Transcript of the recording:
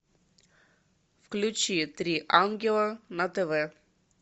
включи три ангела на тв